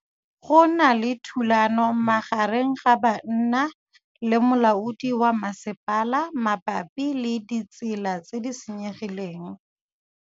Go na le thulanô magareng ga banna le molaodi wa masepala mabapi le ditsela tse di senyegileng.